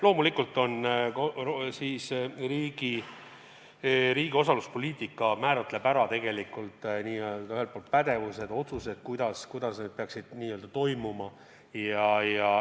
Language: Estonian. Loomulikult riigi osaluspoliitika määratleb ühelt poolt pädevused-otsused, kuidas kõik see peaks toimuma.